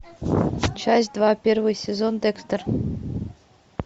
часть два первый сезон декстер